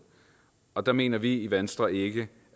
og der mener vi i venstre ikke